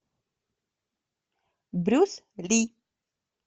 брюс ли